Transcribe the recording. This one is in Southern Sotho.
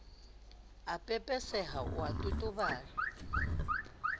a pepeseha o a totobala